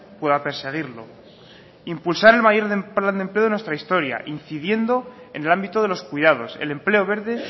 pueda perseguirlo impulsar el mayor plan de empleo de nuestra historia incidiendo en el ámbito de los cuidados el empleo verde